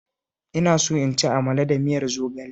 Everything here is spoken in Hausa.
Ina so in ci amala da miyar zogale